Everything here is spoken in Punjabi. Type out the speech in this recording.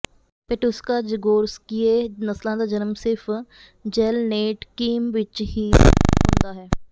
ਪੈਟੁਸ਼ਕਾ ਜ਼ਗੋਰਸਕਿਯੇ ਨਸਲਾਂ ਦਾ ਜਨਮ ਸਿਰਫ਼ ਜ਼ੈਲਨੇਟਕੀਮ ਵਿਚ ਹੀ ਹੁੰਦਾ ਹੈ